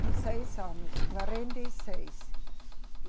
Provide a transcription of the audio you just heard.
Com seis anos, quarenta e seis.